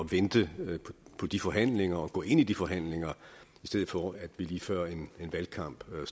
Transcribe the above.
vente på de forhandlinger og gå ind i de forhandlinger i stedet for at vi lige før valgkampen